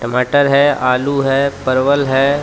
टमाटर है आलू हैपरवल है.